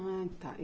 Ah, tá.